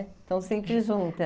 Estão sempre juntas.